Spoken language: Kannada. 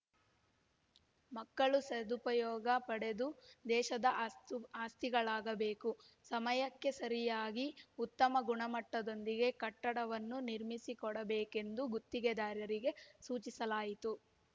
ಮಕ್ಕಳು ಸದುಪಯೋಗ ಪಡೆದು ದೇಶದ ಅಸ್ತು ಆಸ್ತಿಗಳಾಗಬೇಕು ಸಮಯಕ್ಕೆ ಸರಿಯಾಗಿ ಉತ್ತಮ ಗುಣಮಟ್ಟದೊಂದಿಗೆ ಕಟ್ಟಡವನ್ನು ನಿರ್ಮಿಸಿಕೊಡಬೇಕೆಂದು ಗುತ್ತಿಗೆದಾರರಿಗೆ ಸೂಚಿಸಲಾಯಿತು